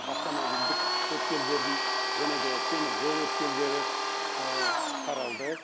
автомобильдік өткелдерін және де темір жол өткелдері қаралды